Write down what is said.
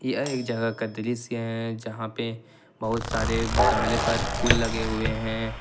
यह जहां का दृश्य है जहां पे बहुत सारे गमले पर फूल लगे हुए हैं।